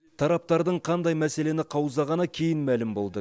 тараптардың қандай мәселені қаузағаны кейін мәлім болды